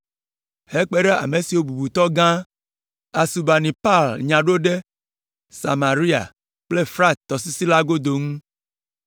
hekpe ɖe ame siwo bubutɔgã, Asurbanipal nya ɖo ɖe Samaria kple Frat tɔsisi la godo ŋu.